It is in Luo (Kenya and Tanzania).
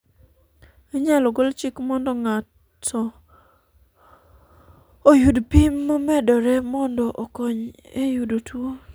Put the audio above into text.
inyalo gol chik mondo ng'ato oyud pim momedore mondo okony e yudo tuo